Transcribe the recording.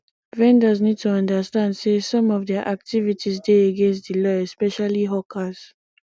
vendors need to understand sey some of their activites dey against di law especially hawkers